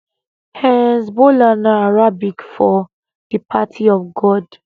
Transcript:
hezbollah na arabic for di party of god